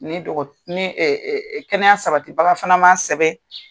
Ni kɛnɛya sabatibaga fana ma sɛbɛn